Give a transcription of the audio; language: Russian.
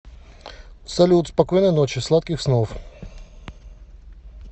салют спокойной ночи сладких снов